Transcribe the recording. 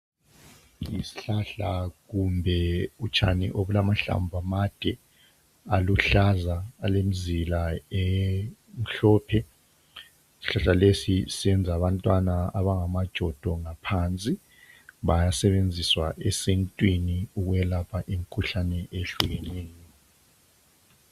yisihlahla kumbe utshani olula mahlamvu amade aluhlaza alemizila emhlophe ishlahlalesi siyenza abantwana abangamajodo ngaphansi bayasetshenziswa esintwini ukulapha imikhuhlane ehlukeneyo